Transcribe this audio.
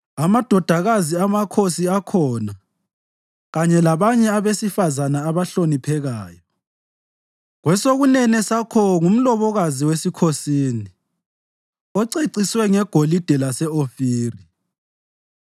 Amadodakazi amakhosi akhona kanye labanye abesifazane abahloniphekayo; kwesokunene sakho ngumlobokazi wesikhosini oceciswe ngegolide lase-Ofiri.